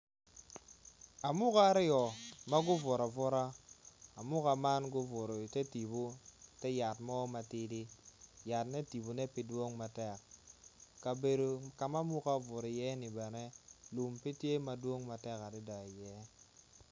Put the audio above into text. Amuka aryo ma gubuto abuta amuka man gubuto i tetipu i teyat mo matidi yatne tipone pe dwong matek kabedo ka ma amuka obuto iye-ni bene lum pe tye madwong matek adada iye.